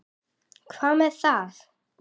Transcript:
Hvað með það?